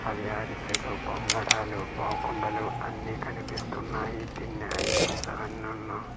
అవి అరిసెలు పొంగడాలు పావ్కుండలు అన్నీ కనిపిస్తున్నాయి తిన్న ఐటమ్స్ అవెన్నున్నో .]